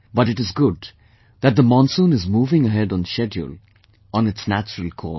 But it is good that the monsoon is moving ahead on schedule on its natural course